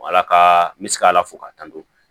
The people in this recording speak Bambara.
Ala ka n bɛ se ka ala fo k'a tanto